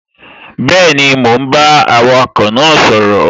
Bẹ́ẹ̀ni, mò ún bá awakọ̀ náà sọ̀rọ̀